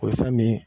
O ye fɛn nin ye